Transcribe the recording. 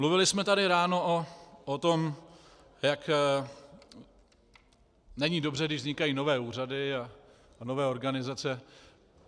Mluvili jsme tady ráno o tom, jak není dobře, když vznikají nové úřady a nové organizace.